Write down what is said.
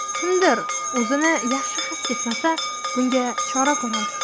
Kimdir o‘zini yaxshi his etmasa, bunga chora ko‘ramiz.